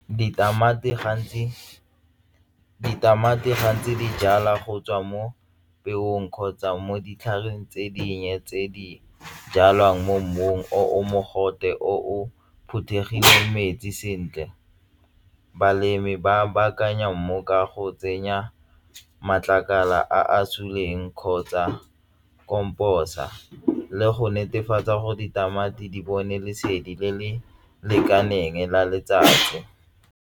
Ditamati gantsi di jalwa go tswa mo peong kgotsa mo ditlhareng tse dinnye tse di jalwang mo mmung o o mogote o o phuthegile metsi sentle balemi ba baakanya mmu ka go tsenya matlakala a suleng kgotsa komposa le go netefatsa gore ditamati di bone lesedi le le lekaneng la letsatsi.